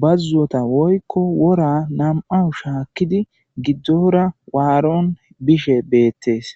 bazota woyko wora nam'awu shakidi gidora waron bishe betes.